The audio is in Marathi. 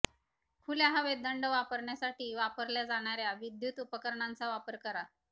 खुल्या हवेत दंड वापरण्यासाठी वापरल्या जाणार्या विद्युत उपकरणांचा वापर करा